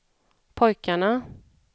pojkarna